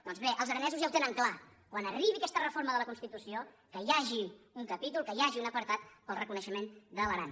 doncs bé els aranesos ja ho tenen clar quan arribi aquesta reforma de la constitució que hi hagi un ca·pítol que hi hagi un apartat per al reconeixement de l’aran